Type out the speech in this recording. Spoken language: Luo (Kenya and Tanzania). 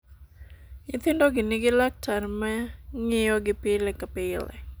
Nyithindogi nigi laktar ma ng'iyogi pile ka pile.